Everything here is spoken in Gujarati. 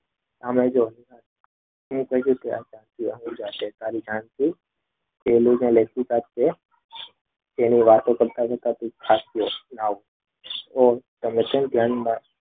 તેની વાતો કરતા કરતા તે ખાશો તો તમે શું ધ્યાનમાં